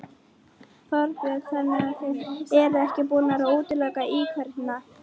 Þorbjörn: Þannig þið eruð ekki búnir að útiloka íkveikju?